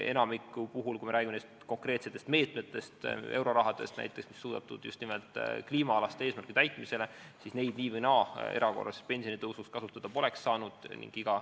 Enamikul juhtudel, kui me räägime konkreetsetest meetmetest, eurorahast näiteks, mis on mõeldud just kliimaalaste eesmärkide täitmiseks, siis neid nii või naa erakorraliseks pensionitõusuks kasutada poleks saanud.